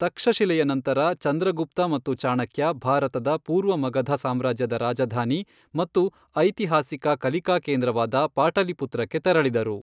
ತಕ್ಷಶಿಲೆಯ ನಂತರ, ಚಂದ್ರಗುಪ್ತ ಮತ್ತು ಚಾಣಕ್ಯ ಭಾರತದ ಪೂರ್ವ ಮಗಧ ಸಾಮ್ರಾಜ್ಯದ ರಾಜಧಾನಿ ಮತ್ತು ಐತಿಹಾಸಿಕ ಕಲಿಕಾ ಕೇಂದ್ರವಾದ ಪಾಟಲಿಪುತ್ರಕ್ಕೆ ತೆರಳಿದರು.